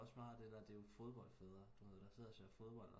Også meget af det der det er jo fodboldfædre der sidder og ser fodbold